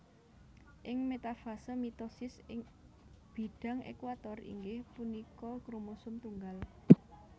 Ing metafase mitosis ing bidang equator inggih punika kromosom tunggal